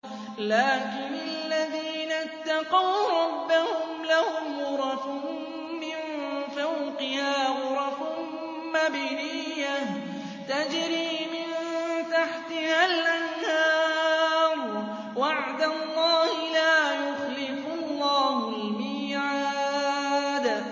لَٰكِنِ الَّذِينَ اتَّقَوْا رَبَّهُمْ لَهُمْ غُرَفٌ مِّن فَوْقِهَا غُرَفٌ مَّبْنِيَّةٌ تَجْرِي مِن تَحْتِهَا الْأَنْهَارُ ۖ وَعْدَ اللَّهِ ۖ لَا يُخْلِفُ اللَّهُ الْمِيعَادَ